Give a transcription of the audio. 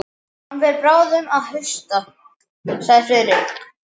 Hann fer bráðum að hausta sagði Friðrik.